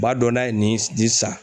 U b'a dɔn n'a ye nin, nin san